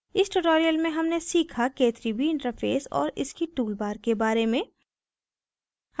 इस tutorial में हमने सीखा k3b interface और इसकी toolbars के बारे में